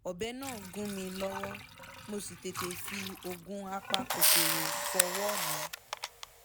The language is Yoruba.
ọbẹ náà gún mi lọ́wọ́ mo sì tètè fi oògùn apakòkòrò fọwọ́ mi